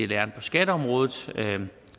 læren på skatteområdet